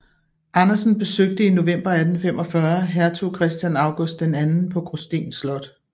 Andersen besøgte i november 1845 hertug Christian August II på Gråsten Slot